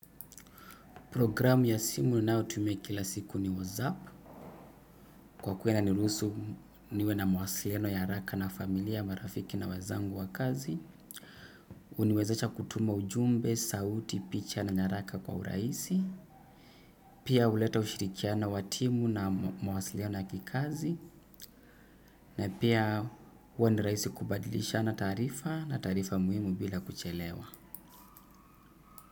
Programu ya simu ninayo tumia kila siku ni WhatsApp. Kwa kuwa inanirusu niwe na mawasiliano ya haraka na familia, marafiki na wenzangu wa kazi. Huniwezesha kutuma ujumbe, sauti, picha na nyaraka kwa urahisi. Pia huleta ushirikiano wa timu na mawasiliano ya kikazi. Na pia huwa ni rahisi kubadilishana taarifa na taarifa muhimu bila kuchelewa.